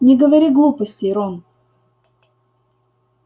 не говори глупостей рон